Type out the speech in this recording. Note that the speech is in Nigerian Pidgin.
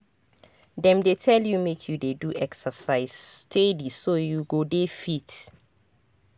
dem dey tell you make you dey do exercise steady so you go dey fit.